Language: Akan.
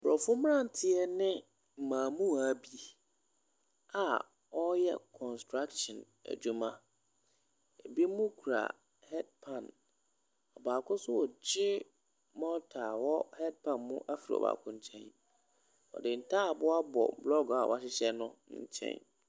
Aborɔfo mmeranteɛ ne mmaamua bi a wɔreyɛ construction adwuma. Ebinom kura headpan. Ɔbaa nso regye mɔɔta a ɛwɔ headpan mu afiri ɔbaako nkyɛn. Ɔde ntaaboo abɔ blɔɔgo a wɔahyehyɛ no nkyɛn.